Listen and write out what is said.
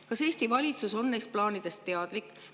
Kas Eesti valitsus on neist plaanidest teadlik?